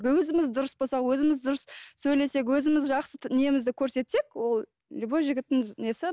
өзіміз дұрыс болсақ өзіміз дұрыс сөйлесек өзіміз жақсы немізді көрсетсек ол любой жігіттің несі